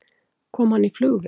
Kom hann í flugvél?